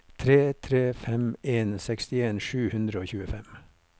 tre tre fem en sekstien sju hundre og tjuefem